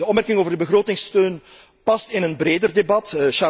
De opmerking over de begrotingssteun past in een breder debat.